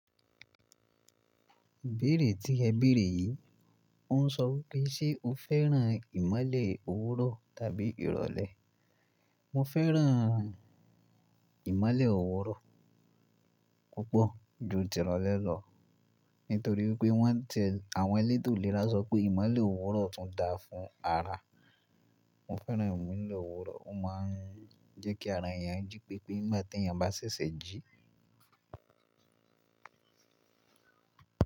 Bẹ́erẹ̀ tíẹ beẹ̀rẹ̀ yìí, ó ń sọ wípé ṣe o fẹ́ràn ìmolè òwúrọ̀ tàbí ìrọ̀lẹ́? Mo fẹ́ràn ìmolè òwúrọ̀ púpọ̀ ju ti ìrọ̀lẹ́ lọ, ntorí wípé wọ́n tẹ-- àwọn elétò ìlera lo sọ pé ìmolè òwúrọ̀ tún da fún ara. Mo fẹ́ràn ìmolè òwúrọ̀, ó máa ń jẹ́ kí ara èèyàn jí pépé n gbá tí èèyàn bá ṣẹ̀ṣẹ̀ jí.